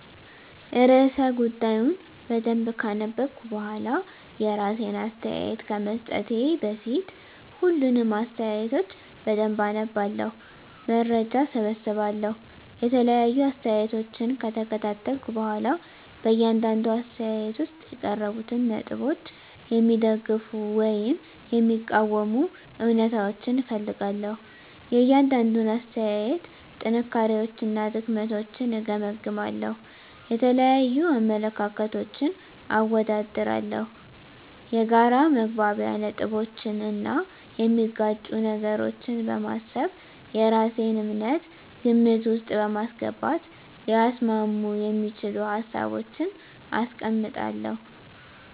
*ርዕሰ ጉዳዩን በደንብ ካነበብኩ በኋላ፤ *የራሴን አስተያየት ከመስጠቴ በፊት፦ ፣ሁሉንም አስተያየቶች በደንብ አነባለሁ፣ መረጃ እሰበስባለሁ የተለያዩ አስተያየቶችን ከተከታተልኩ በኋላ በእያንዳንዱ አስተያየት ውስጥ የቀረቡትን ነጥቦች የሚደግፉ ወይም የሚቃወሙ እውነታዎችን እፈልጋለሁ፤ * የእያንዳንዱን አስተያየት ጥንካሬዎችና ድክመቶችን እገመግማለሁ። * የተለያዩ አመለካከቶችን አወዳድራለሁ። የጋራ መግባቢያ ነጥቦችን እና የሚጋጩ ነገሮችን በማሰብ የራሴን እምነት ግምት ውስጥ በማስገባት ሊያስማሙ የሚችሉ ሀሳቦችን አስቀምጣለሁ።